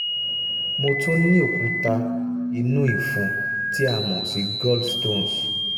mo tún ní òkúta inú ìfún tí a mọ̀ sí gallstones